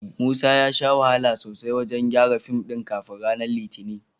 Musa ya sha wahala sosai wajen gyaran fim ɗin kafin ranar Litinin.